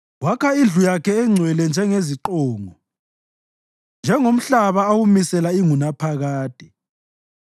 Wakha indlu yakhe engcwele njengeziqongo, njengomhlaba awumisela ingunaphakade.